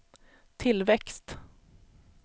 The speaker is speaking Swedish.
tillväxt